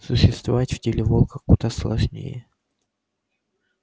существовать в теле волка куда сложнее